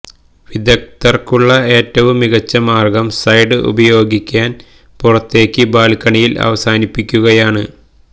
വിദഗ്ധർക്കുള്ള ഏറ്റവും മികച്ച മാർഗ്ഗം സൈഡ് ഉപയോഗിക്കാൻ പുറത്തേക്ക് ബാൽക്കണിയിൽ അവസാനിപ്പിക്കുകയാണ്